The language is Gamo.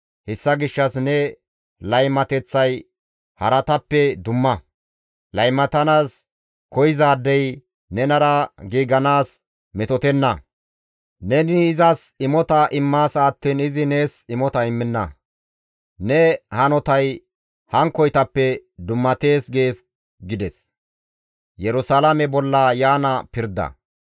Hessa gishshas ne laymateththay haratappe dumma; laymatanaas koyzaadey nenara giiganaas metotenna; neni izas imota immaasa attiin izi nees imota immenna; ne hanotay hankkoytappe dummatees› gees» gees Ubbaa Haariza GODAY.